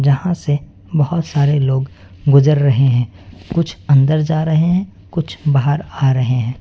यहां से बहुत लोग गुजर रहे हैं कुछ अन्दर जा रहे हैं कुछ लोग बाहर आ रहे हैं।